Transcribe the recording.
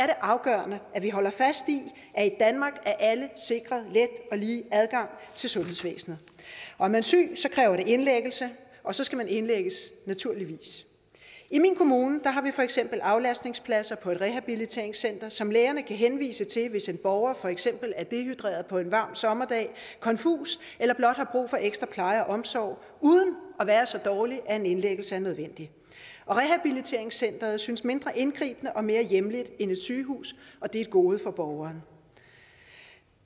afgørende at vi holder fast i at i danmark er alle sikret let og lige adgang til sundhedsvæsenet er man syg kræver det indlæggelse og så skal man naturligvis indlægges i min kommune har vi for eksempel aflastningspladser på et rehabiliteringscenter som lægerne kan henvise til hvis en borger for eksempel er dehydreret på en varm sommerdag konfus eller blot har brug for ekstra pleje og omsorg uden at være så dårlig at en indlæggelse er nødvendig rehabiliteringscenteret synes mindre indgribende og mere hjemligt end et sygehus og det er et gode for borgeren